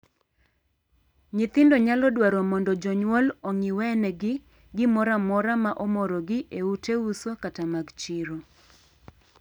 Nyithindo nyalo dwaro mondo jonyuol ong'iwenegi gimoro amora ma omorogi e ute uso kata mag chiro.